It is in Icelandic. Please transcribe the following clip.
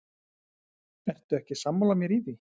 Ertu ekki sammála mér í því?